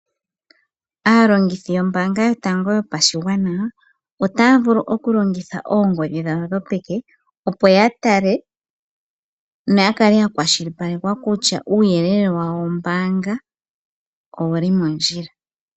Aalongithi yombaanga yotango yopashigwana, ota ya vulu yalongithe oongodhi dhayo dhopeke, opo yatale noyakale yakwashili palekwa kutya uuyelele wawo wombaanga owu li mondjila.